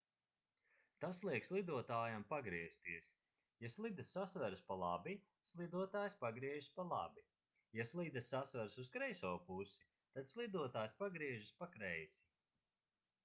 tas liek slidotājam pagriezties ja slidas sasveras pa labi slidotājs pagriežas pa labi ja slidas sasveras uz kreiso pusi tad slidotājs pagriežas pa kreisi